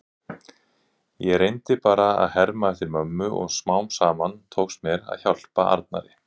Ég reyndi bara að herma eftir mömmu og smám saman tókst mér að hjálpa Arnari.